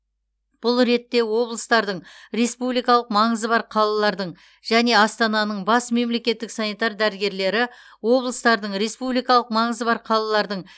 бұл ретте облыстардың республикалық маңызы бар қалалардың және астананың бас мемлекеттік санитар дәрігерлері облыстардың республикалық маңызы бар қалалардың